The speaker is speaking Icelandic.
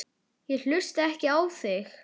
Ég hlusta ekki á þig.